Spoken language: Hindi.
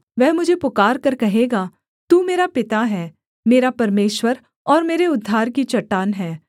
वह मुझे पुकारकर कहेगा तू मेरा पिता है मेरा परमेश्वर और मेरे उद्धार की चट्टान है